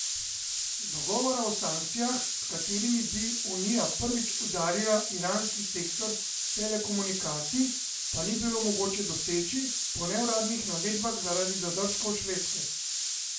Dogovora o sankcijah, s katerimi bi Unija prvič udarila iranski sektor telekomunikacij, pa ni bilo mogoče doseči, po neuradnih navedbah zaradi zadržkov Švedske.